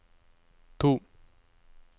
to